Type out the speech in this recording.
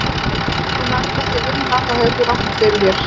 Þegar þú nærð ekki að vinna þá hefur þú rangt fyrir þér.